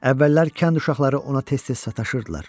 Əvvəllər kənd uşaqları ona tez-tez sataşırdılar.